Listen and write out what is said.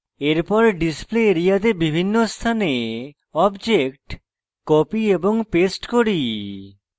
এরপর display area তে বিভিন্ন স্থানে object copy এবং paste করি